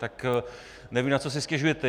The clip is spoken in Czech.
Tak nevím, na co si stěžujete.